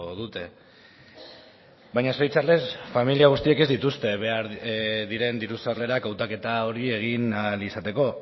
dute baina zoritzarrez familia guztiek ez dituzte behar diren diru sarrerak hautaketa hori egin ahal izateko